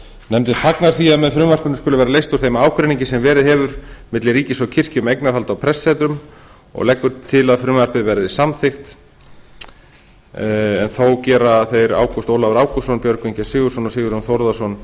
nefndin fagnar því að með frumvarpinu skuli vera leyst úr þeim ágreiningi sem verið hefur milli ríkis og kirkju um eignarhald á prestssetrum og leggur til að frumvarpið verði samþykkt en þó gera þeir ágúst ólafur ágústsson björgvin g sigurðsson og sigurjón þórðarson